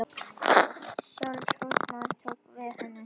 Sjálf húsmóðirin tók við henni þegar hún sá hve illa hún var haldin.